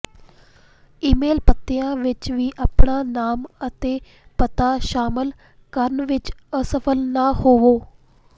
email ਪਤਿਆਂ ਵਿਚ ਵੀ ਆਪਣਾ ਨਾਮ ਅਤੇ ਪਤਾ ਸ਼ਾਮਲ ਕਰਨ ਵਿਚ ਅਸਫਲ ਨਾ ਹੋਵੋ